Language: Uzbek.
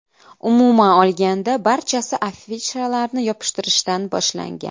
Umuman olganda, barchasi afishalarni yopishtirishdan boshlangan.